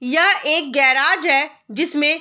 यह एक गेराज है जिसमें --